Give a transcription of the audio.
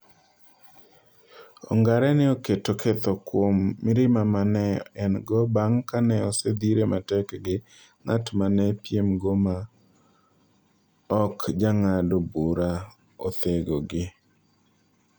Ongare ne oketo ketho kuom mirima ma ne en - go bang ' ka ne osedhire matek gi ng'at ma ne piemgo ma ok jang'ado bura othegogi.